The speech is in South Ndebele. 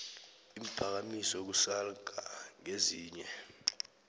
iimphakamiso kusalgbc ngezinye